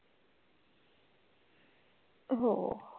हो.